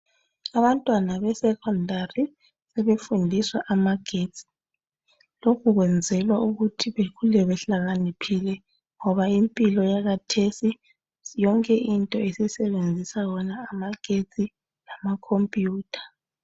Abantwana be secondary sebefundiswa amagetsi lokhu kwenzelwa ukuthi bekhule behlakaniphile ngoba impilo yakathesi yonke into isisebenzisa wona amagetsi lama computer.